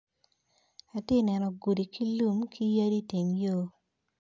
Atye neno gudi ki lum kiyadi iteng yo.